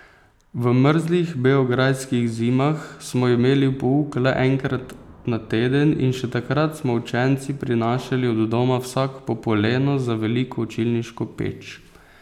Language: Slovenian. V mrzlih beograjskih zimah smo imeli pouk le enkrat na teden in še takrat smo učenci prinašali od doma vsak po poleno za veliko učilniško peč.